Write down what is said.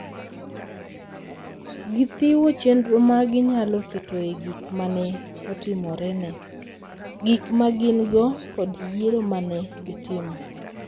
Gichiwo chenro ma ginyalo ketoe gik ma ne otimorene, gik ma gin-go, kod yiero ma ne gitimo.